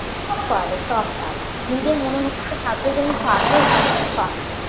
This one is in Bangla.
পারে সব পারে নিজের মনের মধ্যে হাত রেখে যে আমি পারবো এই কাজটা পারবো